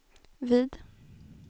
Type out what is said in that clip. vid